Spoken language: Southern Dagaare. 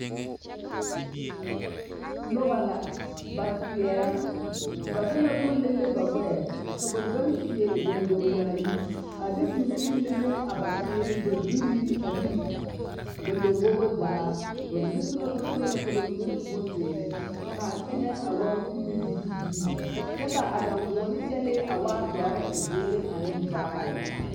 Noba la ba seɛrɛŋ ba de la boma lele ba ɡbɛɛ ka ba pãã seɛ ɡondoŋ yaayere a de mine lele a ba seere ba zuri ane ba lambobo zaa ba mine su la bonsɔɔlɔ ka mine su bonziiri ka a teŋɛ waa kubiliibilii kyɛ ka a daŋɡoɔne kyɛlɛɛ a dɔre ziiri ane vaare.